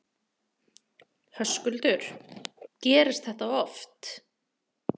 Höskuldur: Gerist þetta oft?